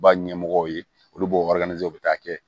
Ba ɲɛmɔgɔw ye olu b'o wari ɲini u bɛ taa kɛ